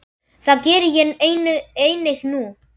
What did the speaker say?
Það geri ég einnig nú.